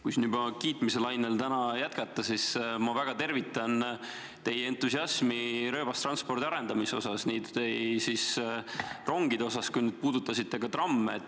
Kui siin kiitmiselainel jätkata, siis ma väga tervitan teie entusiasmi rööbastranspordi arendamise osas – nii rongide osas kui ka trammide osas.